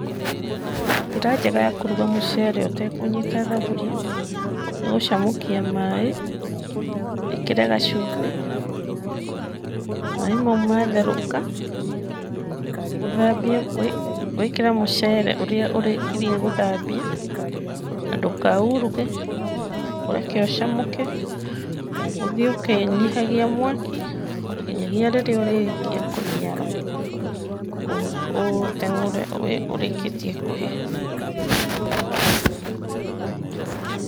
Njĩra njega ya kũruga mũcere ũtekũnyita thaburia, nĩ gũcamũkia maaĩ, wĩkĩre gacumbĩ. Maaĩ mau matherũka, wĩkĩre mũcere ũrĩa ũrĩkiririe gũthambia, na ndũkauruge, ũreke ũcamũke, ũthiĩ ũkĩnyihagia mwaki, nginyagia rĩrĩa ũrĩrĩkia kũniara, ũũteng'ũre ũrĩkĩtie kũhĩa.